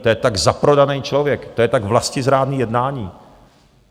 To je tak zaprodaný člověk, to je tak vlastizrádné jednání.